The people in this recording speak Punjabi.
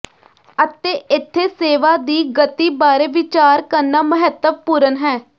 ਅਤੇ ਇੱਥੇ ਸੇਵਾ ਦੀ ਗਤੀ ਬਾਰੇ ਵਿਚਾਰ ਕਰਨਾ ਮਹੱਤਵਪੂਰਣ ਹੈ